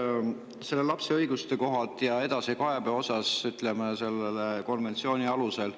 lapse õiguste ja selle edasikaebamise kohta selle konventsiooni alusel.